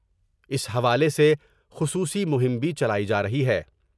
اس حوالے سے خصوصی مہم بھی چلائی جارہی ہے ۔